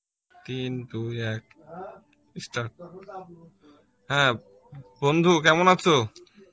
তিন দুই এক start হ্যাঁ বন্ধু কেমন আছো?